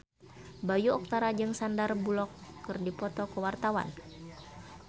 Bayu Octara jeung Sandar Bullock keur dipoto ku wartawan